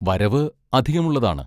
വരവ് അധികമുള്ളതാണ്.